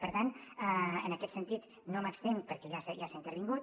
per tant en aquest sentit no m’estenc perquè ja s’hi ha intervingut